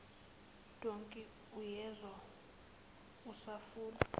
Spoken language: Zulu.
dankie uyezwa usafuna